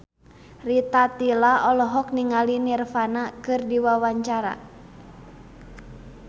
Rita Tila olohok ningali Nirvana keur diwawancara